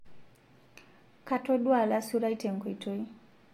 Katuduoa lasurai tengoitei